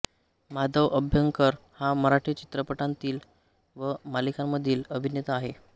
माधव अभ्यंकर हा मराठी चित्रपटांमधील व मालिकांमधील अभिनेता आहे